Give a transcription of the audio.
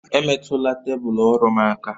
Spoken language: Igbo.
Emetụla tebụl ọrụ m aka!